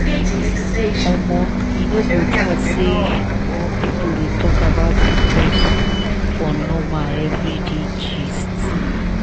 omo e no go bad say more people dey talk about pcos for normal everyday gist.